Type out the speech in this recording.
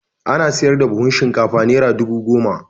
Ana saida buhun shinkafa Naira dubu goma.